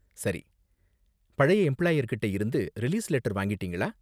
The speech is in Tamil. சரி, பழைய எம்பிளாயர் கிட்டே இருந்து ரிலீஸ் லெட்டர் வாங்கிட்டீங்களா?